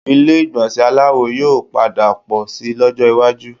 Ilé ìgbọ̀nsẹ̀ aláwo yóò padà pọ̀ síi lọ́jọ́ iwájú